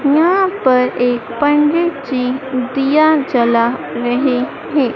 यहाँ पर एक पंडित जी दिया जला रहें हैं।